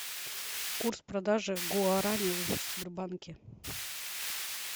курс продажи гуарани в сбербанке